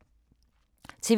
TV 2